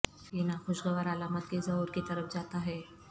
یہ ناخوشگوار علامات کے ظہور کی طرف جاتا ہے